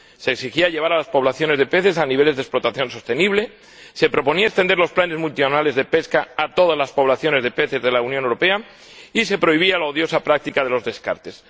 Se exigía llevar las poblaciones de peces a niveles de explotación sostenible, se proponía extender los planes multinacionales de pesca a todas las poblaciones de peces de la Unión Europea, y se prohibía la odiosa práctica de los descartes.